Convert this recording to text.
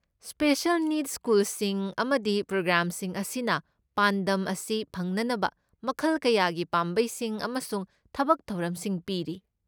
Special ꯅꯤꯗꯁ ꯁ꯭ꯀꯨꯜꯁꯤꯡ ꯑꯃꯗꯤ ꯄ꯭ꯔꯣꯒ꯭ꯔꯥꯝꯁꯤꯡ ꯑꯁꯤꯅ ꯄꯥꯟꯗꯝ ꯑꯁꯤ ꯐꯪꯅꯅꯕ ꯃꯈꯜ ꯀꯌꯥꯒꯤ ꯄꯥꯝꯕꯩꯁꯤꯡ ꯑꯃꯁꯨꯡ ꯊꯕꯛ ꯊꯧꯔꯝꯁꯤꯡ ꯄꯤꯔꯤ꯫